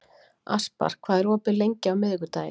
Aspar, hvað er opið lengi á miðvikudaginn?